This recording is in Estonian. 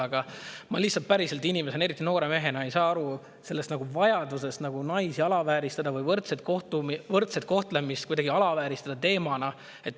Aga ma lihtsalt inimesena, eriti noore mehena päriselt ei saa aru sellest vajadusest naisi alavääristada või võrdset kohtlemist kuidagi alavääristada teemana.